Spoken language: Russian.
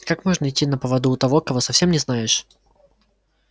как можно идти на поводу у того кого совсем не знаешь